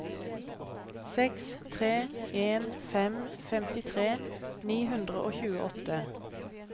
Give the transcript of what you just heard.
seks tre en fem femtitre ni hundre og tjueåtte